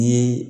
Ni